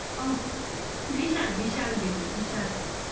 সেই সব corridor ওফ হুম বিশাল বিশাল দিন